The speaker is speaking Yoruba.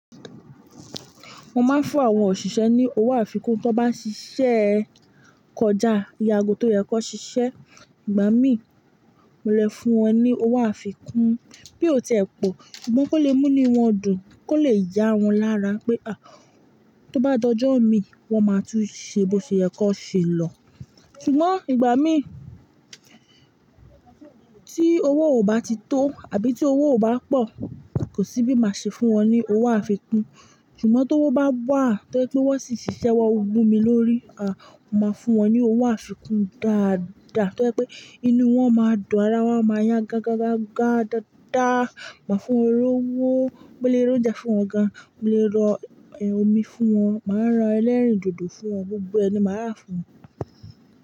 Mo máa ń fún àwọn òṣìṣẹ́ ní owó àfikún tó bá ṣiṣẹ́ kọjá ìyàgó tó yẹ kó ṣiṣẹ́. Ìgbà mí mo lè fún wọn ní owó àfikún bí ó tẹ́ ẹ po ṣùgbọ́n kó lè mú ni wọ́n dùn, kó lè yá wọn lára pé a! Tó bá dojọ́ mi wọ́n máa tún ṣe bóṣe yẹ kan ṣe lọ. Ṣùgbọ́n ìgbà mí tí owó ò bá ti tó àbí tí owó ò bá pọ̀ kò sí bí máa ṣe fún wọn ní owó àfikún. Ṣùgbọ́n tówo bá wà tó jẹ pé wọ́n sì ṣiṣẹ́ won wu mi lórí, a! Mo máa fún wọn ní owó àfikún dáadáa tó jẹ pé inú wọn máa dùn, ará wọn máa yá gágágágá dáadáa. Màá fún wọn lówó, mo lè ro oúnjẹ fún wọn gan, mo lè rọ omi fún wọn, màá ran ẹlẹ́rìndòdò fún wọn, gbogbo ẹ ni màá rà fún wọn.